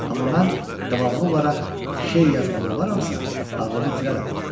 Amma mən davamlı olaraq şeir yazmalı olalamsa, ağlımı itirərəm.